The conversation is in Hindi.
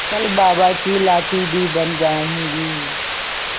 कल बाबा की लाठी भी बन जाऊंगी